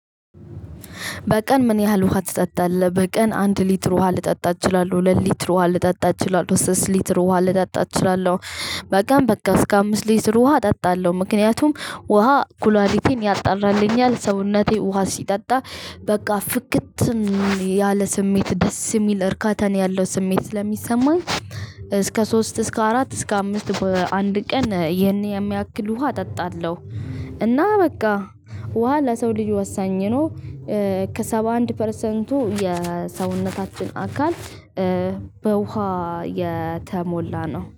በቀን ምን ያህል ውሃ ትጠጣለህ? በቀን አንድ ሊትር ውሃ ልጠጣ እችላለሁ ሁለት ሊትር ውሃ ልጠጣ እችላለሁ ሶስት ሊትር ውሃ ልጠጣ እችላለሁ። በቀም በቃ እስከ አምስት ሊትር ውሃ እጠጣለሁ ምክንያቱም ውሃ ኩላሌቴን ያጣራልኛል። ሰውነቴ ውሃ ሲጠጣ። በቃ ፍክት ያለ ስሜት ደስ የሚል እርካታ ነው ያለው ስሜት ስለሚሰማኝ። እስከ ሶስት እስከ አራት እስከ አምስት በአንድ ቀን ይህን የሚያክል ውሃ እጠጣለሁ። እና በቃ ውሃ ለሰው ልጅ ወሳኝ ነው። ከሰባ አንድ ፐርሰንቱ የሰውነታችን አካል በውሃ የተሞላ ነው